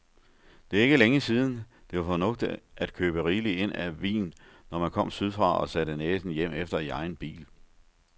Det er ikke længe siden, det var fornuftigt at købe rigeligt ind af vin, når man kom sydfra og satte næsen hjemefter i egen bil.